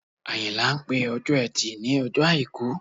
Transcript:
Àyìnlá ń pè Ọjọ́ Ẹtì ní Ọjọ́ Àìkú